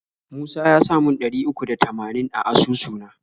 Musa yasa mun ɗari uku da tamanin a asusu na.